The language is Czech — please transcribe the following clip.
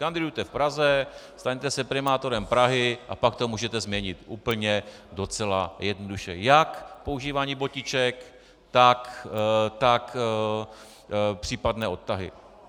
Kandidujte v Praze, staňte se primátorem Prahy, a pak to můžete změnit úplně docela jednoduše - jak používání botiček, tak případné odtahy.